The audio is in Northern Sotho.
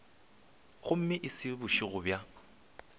gomme e se bošego bja